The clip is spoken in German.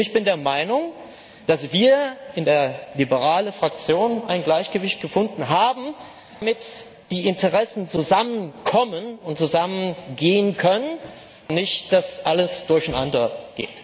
Ich bin der Meinung, dass wir in der liberalen Fraktion ein Gleichgewicht gefunden haben, damit die Interessen zusammenkommen und zusammengehen können, und nicht, dass alles durcheinandergeht.